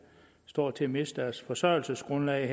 står til at miste deres forsørgelsesgrundlag